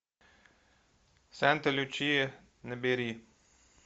санта лючия набери